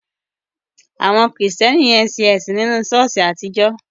Àwọn Kristẹni yẹn ń sìn nínu ṣọ̀ọ́sì àtijọ́.